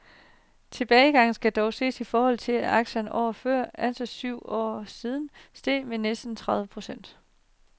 Tilbagegangen skal dog ses i forhold til, at aktierne året før, altså for syv år siden , steg med næsten tredive procent.